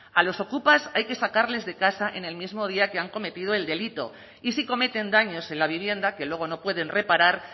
a los ocupas hay que sacarles de casa en el mismo día que han cometido el delito y si cometen daños en la vivienda que luego no pueden reparar